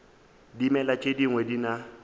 dimela tše dingwe di na